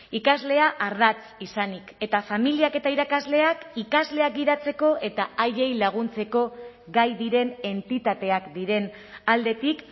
ikaslea ardatz izanik eta familiak eta irakasleak ikasleak gidatzeko eta haiei laguntzeko gai diren entitateak diren aldetik